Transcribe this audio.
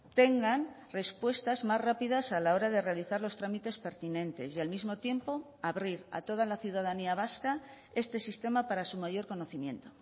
tengan respuestas más rápidas a la hora de realizar los trámites pertinentes y al mismo tiempo abrir a toda la ciudadanía vasca este sistema para su mayor conocimiento